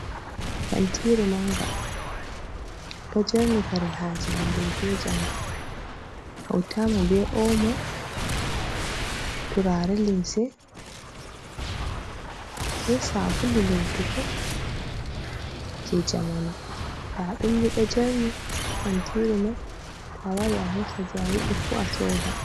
Kantiiru mannga, ɗo jerni kare haaje hannde be janngo, hawtaama be ’omo, turaare limse, be saabulu lootugo jey jamanu, nda ɗum ni ɗo jerni haa kantiiru may, to a wari a hoosa jey a yiɗi fuu a sooda.